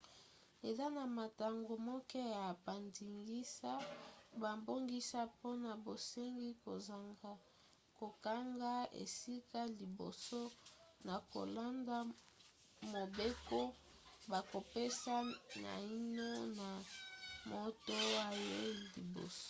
eza na mantango moke ya bandingisa babongisa mpona bosengi kozanga kokanga esika liboso na kolanda mobeko bakopesa naino na moto ayei liboso